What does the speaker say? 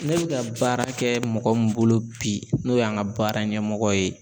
Ne be ka baara kɛ mɔgɔ min bolo bi n'o y'an ka baara ɲɛmɔgɔ ye